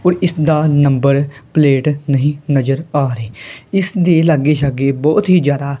ਹੋਰ ਇਸਦਾ number plate ਨਹੀਂ ਨਜਰ ਆ ਰਹੀ ਇਸਦੀ ਲੱਗੇ ਸ਼ੱਗੇ ਬੋਹੁਤ ਹੀ ਜਿਆਦਾ--